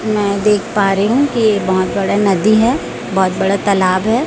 मैं देख पा रही हूं कि ये बहोत बड़े नदी है बहोत बड़ा तालाब है।